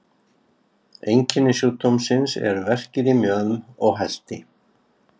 Einkenni sjúkdómsins eru verkir í mjöðm og helti.